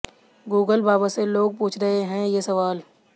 Google बाबा से लोग पूछ रहे हैं ये सवाल